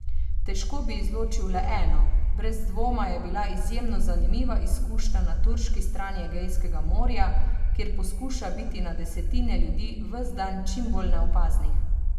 Težko bi izločil le eno, brez dvoma je bila izjemno zanimiva izkušnja na turški strani Egejskega morja, kjer poskuša biti na desetine ljudi ves dan čim bolj neopaznih.